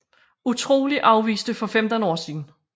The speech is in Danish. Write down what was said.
Utrolig afviste for 15 år siden